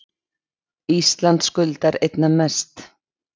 Ísland skuldar einna mest